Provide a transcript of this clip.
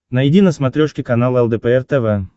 найди на смотрешке канал лдпр тв